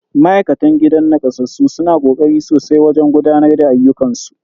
Ma'aikatan gidan nakasassu suna kokari sosai wajen gudanar da ayyukan su.